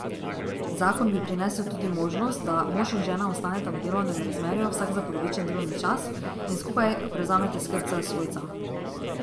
Zakon bi prinesel tudi možnost, da mož in žena ostaneta v delovnem razmerju vsak za polovičen delovni čas in skupaj prevzameta skrb za svojca.